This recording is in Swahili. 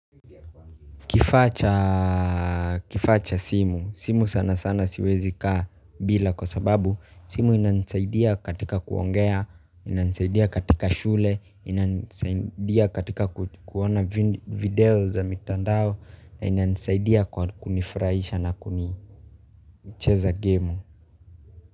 Kifaa cha simu, simu sana sana siwezi kaa bila kwa sababu simu inanisaidia katika kuongea, inanisaidia katika shule, inanisaidia katika kuona video za mitandao, inanisaidia kwa kunifuraisha na kuni cheza game.